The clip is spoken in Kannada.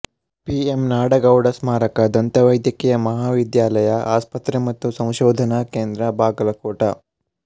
ಪಿ ಎಮ್ ನಾಡಗೌಡ ಸ್ಮಾರಕ ದಂತ ವೈದ್ಯಕೀಯ ಮಹಾವಿದ್ಯಾಲಯ ಆಸ್ಪತ್ರೆ ಮತ್ತು ಸಂಶೋಧನಾ ಕೇಂದ್ರ ಬಾಗಲಕೋಟ